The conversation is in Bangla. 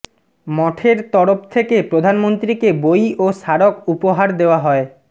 মঠের তরফ থেকে প্রধানমন্ত্রীকে বই ও স্মারক উপহার দেওয়া হয়